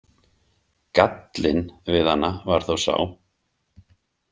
„Gallinn“ við hana var þó sá.